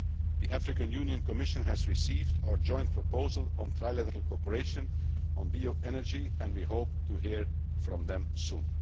The African Union Commission has received our joint proposal on trilateral cooperation on bioenergy and we hope to hear from them